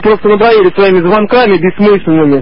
просто надоели своими звонками бессмысленными